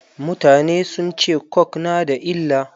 Mutane sun ce coke na da illa.